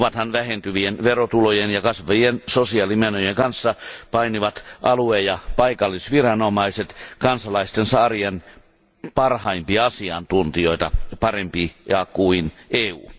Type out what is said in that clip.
Ovathan vähentyvien verotulojen ja kasvavien sosiaalimenojen kanssa painivat alue ja paikallisviranomaiset kansalaistensa arjen parhaimpia asiantuntijoita, parempia kuin EU.